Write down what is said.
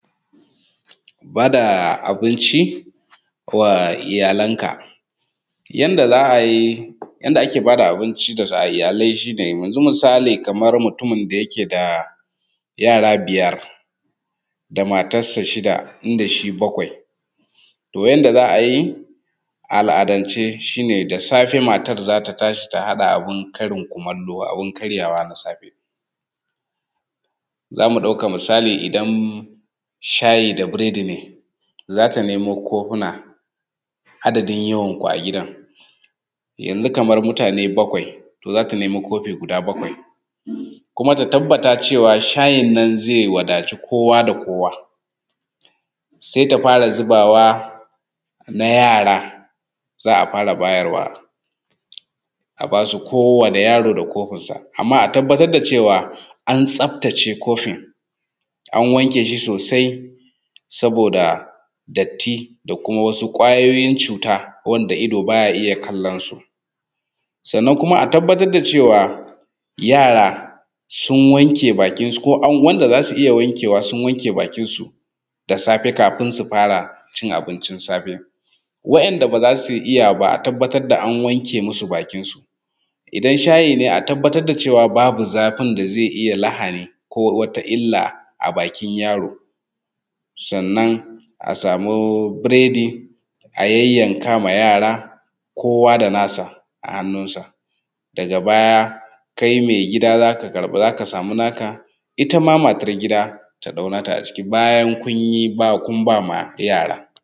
Bada abinci ko a iyalanka. Yanda ake bada abinci ga iyalai shi ne yanzu misali kamar mutumin da yake da yara biyar da matar sa shida inda shi bakwai. To yanda za a yi a al’adace shi ne da safe matar za ta tashi ta haɗa abun karin kumallo, abun karyawa na safe. Za mu ɗauka misali idan shayi da biredi ne za ta nemo kofuna adadin yawan ku a gidan. Yanzu kaman mutane bakwai, za ta nemo kofi guda bakwai kuma ta tabbatar cewa shayin nan zai wadatu kowa da kowa. Sai ta fara zubawa na yara, za a fara bayarwa ,a ba su kowani yaro da kofinsa. Amman a tabbatar da cewa an tsaftace kofin, an wanke shi sosai saboda datt,i da kuma wasu ƙwayoyin cuta wanda ido baya iya kallon su. Sannan kuma a tabbatar da cewa yara sun wanke bakinsu ko an wanda za su iya wankewa sun wanke bakinsu da safe kafin su fara cin abincin safe. Wa'inda ba za su iya ba a tabbatar da an wanke musu bakinsu idan shayi ne a tabbatar da cewa babu zafin da zai iya lahani ko wata illa a bakin yaro. Sannan a samu biredi a yayyanka ma yara kowa da nasa a hannun sa. Daga baya kai mai gida za ka samu naka ita ma matar gida ta ɗau na ta a ciki bayan kun ba ma yara.